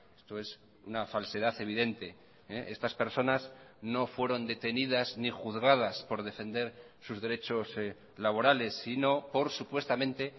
esto es una falsedad evidente estas personas no fueron detenidas ni juzgadas por defender sus derechos laborales sino por supuestamente